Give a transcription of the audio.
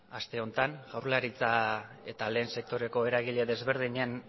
aste honetan jaurlaritza eta lehen sektoreko eragile desberdinen